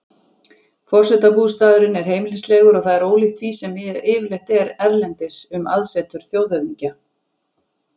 Forsetabústaðurinn er heimilislegur og það er ólíkt því sem yfirleitt er erlendis um aðsetur þjóðhöfðingja.